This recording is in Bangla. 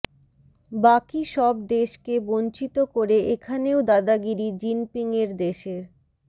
বাকি সব দেশকে বঞ্চিত করে এখানেও দাদাগিরি জিনপিংয়ের দেশের